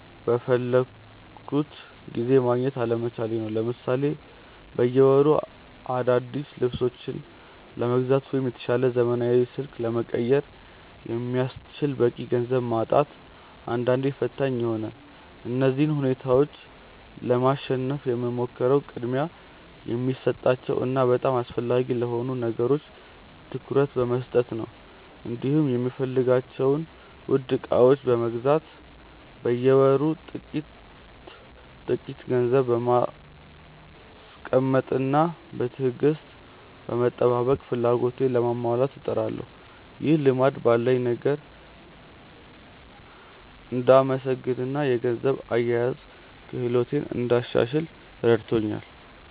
በፈለግኩት ጊዜ ማግኘት አለመቻሌ ነው። ለምሳሌ በየወሩ አዳዲስ ልብሶችን ለመግዛት ወይም የተሻለ ዘመናዊ ስልክ ለመቀየር የሚያስችል በቂ ገንዘብ ማጣት አንዳንዴ ፈታኝ ይሆናል። እነዚህን ሁኔታዎች ለማሸነፍ የምሞክረው ቅድሚያ ለሚሰጣቸው እና በጣም አስፈላጊ ለሆኑ ነገሮች ትኩረት በመስጠት ነው፤ እንዲሁም የምፈልጋቸውን ውድ ዕቃዎች ለመግዛት በየወሩ ጥቂት ጥቂት ገንዘብ በማስቀመጥና በትዕግስት በመጠባበቅ ፍላጎቶቼን ለማሟላት እጥራለሁ። ይህ ልማድ ባለኝ ነገር እንድመሰገንና የገንዘብ አያያዝ ክህሎቴን እንዳሻሽል ረድቶኛል።